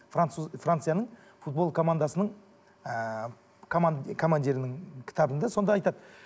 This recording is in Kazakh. француз францияның футбол командасының ыыы командирінің кітабында сонда айтады